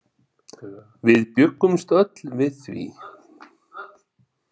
Við bjuggumst öll við því.